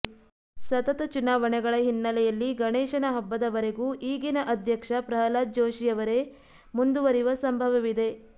ಸತತ ಚುನಾವಣೆಗಳ ಹಿನ್ನೆಲೆಯಲ್ಲಿ ಗಣೇಶನ ಹಬ್ಬದವರೆಗೂ ಈಗಿನ ಅಧ್ಯಕ್ಷ ಪ್ರಹ್ಲಾದ ಜೋಷಿಯವರೇ ಮುಂದುವರಿಯುವ ಸಂಭವವಿದೆ